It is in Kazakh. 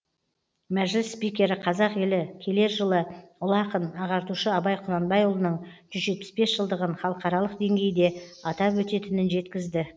мәжіліс спикері қазақ елі келер жылы ұлы ақын ағартушы абай құнанбайұлының жүз жетпіс бес жылдығын халықаралық деңгейде атап өтетінін жеткізді